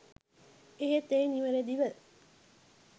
එහෙත් එය නිවරදිව